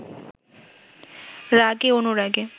রাগে অনুরাগে